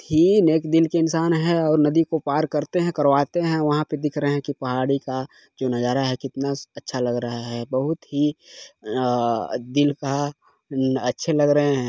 थीन एक दिन के इंसान है और नदी को पार करते है करवाते है वहाँ पर दिख रहे है की पहाड़ी का जो नजारा है कितना स अच्छा लग रहा है बहुत ही आ दिल का उ अच्छे लग रहे हैं।